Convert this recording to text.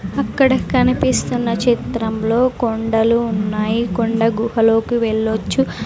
అక్కడ కనిపిస్తున్న చిత్రంలో కొండలు ఉన్నాయి కొండ గుహలోకి వెళ్లొచ్చు.